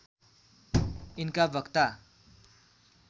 यिनका वक्ता